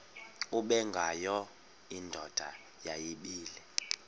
ubengwayo indoda yayibile